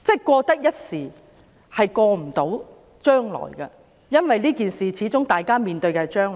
過得一時，未必過到將來，因為這件事會影響將來的。